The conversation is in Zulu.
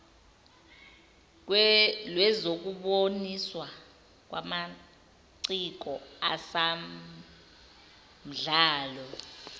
lwezokuboniswa kwamaciko asamdlalo